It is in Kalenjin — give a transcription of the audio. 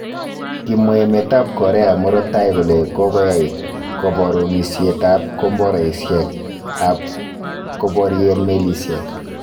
Kimwa emet ab Korea murto taii kole kogoyaai koborunisiet ab komboraisiek ab keborien melisiek.